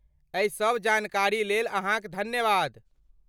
एहि सभ जानकारीलेल अहाँक धन्यवाद।